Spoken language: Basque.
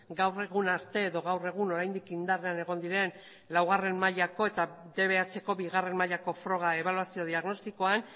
gaur egun arte edo gaur egun oraindik indarrean egon diren laugarren mailako eta dbhko bigarren mailako froga ebaluazio diagnostikoan